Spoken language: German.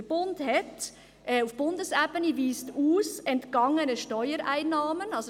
Der Bund weist auf Bundesebene entgangene Steuereinnahmen aus.